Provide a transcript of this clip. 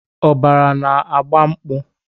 Ọbara na-agba mkpu.